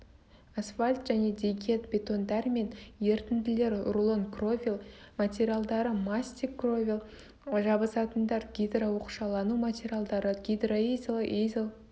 асфальт және дегет бетондар мен ерітінділер рулон кровель материалдары мастик кровель жабысатындар гидрооқшаулану материалдары гидроизол изол